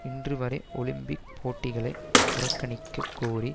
இன்று வரை ஒலிம்பிக் போட்டிகளை புறக்கணிக்க கோரி